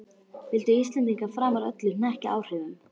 Vildu Íslendingar framar öllu hnekkja áhrifum